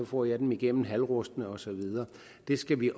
får jeg dem igennem halvrustne og så videre det skal vi